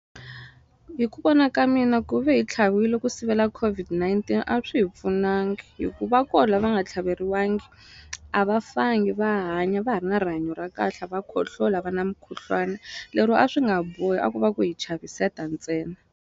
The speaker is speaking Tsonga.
Hi ku vona ka mina ku ve hi tlhaviwile ku sivela COVID-19 a swi hi pfunangi hi ku va ko la va nga tlhaveriwangi a va fangi va hanya va ha ri na rihanyo ra kahle a va khohloli a va na mukhuhlwani lero a swi nga bohi a ku va ku hi chaviseta ntsena.